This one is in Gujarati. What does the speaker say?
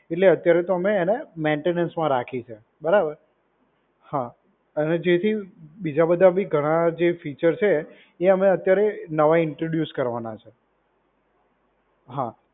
એટલે અત્યારે તો અમે એને મેન્ટેનન્સમાં રાખી છે. બરાબર, હા અને જે થી બીજા બધા બી ઘણા જે ફીચર છે એ અમે અત્યારે નવા ઈન્ટ્રોડ્યુસ કરવાના છે.